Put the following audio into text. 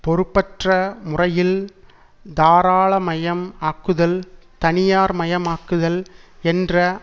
பொறுப்பற்ற முறையில் தாராளமயம் ஆக்குதல் தனியார் மயமாக்குதல் என்ற